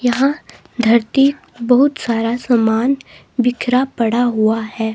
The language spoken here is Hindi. यहां धरती बहुत सारा समान बिखरा पड़ा हुआ है।